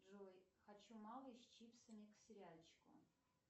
джой хочу малый с чипсами к сериальчику